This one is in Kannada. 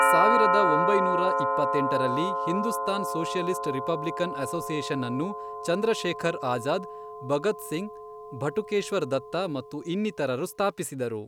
ಸಾವಿರದ ಒಂಬೈನೂರ ಇಪ್ಪತ್ತೆಂಟರಲ್ಲಿ, ಹಿಂದೂಸ್ತಾನ್ ಸೊಷಿಯಲಿಸ್ಟ್ ರಿಪಬ್ಲಿಕನ್ ಅಸೋಸಿಯೇಷನ್ ಅನ್ನು ಚಂದ್ರಶೇಖರ್ ಅಜಾದ್ ಭಗತ್ ಸಿಂಗ್ ಭಟುಕೇಶ್ವರ್ ದತ್ತ ಮತ್ತು ಇನ್ನಿತರರು ಸ್ಥಾಪಿಸಿದರು.